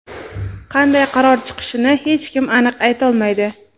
qanday qaror chiqishini hech kim aniq aytolmaydi.